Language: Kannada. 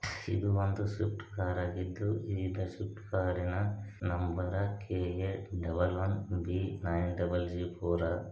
ಇದು ಒಂದು ಶಿಫ್ಟ್ರ ಕಾರ ಆಗಿದ್ದು ಈಗ ಶಿಫ್ಟ್ ಕಾರಿನ number K A double one B nine double Z four .